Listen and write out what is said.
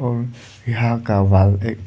और यहां का वॉल एक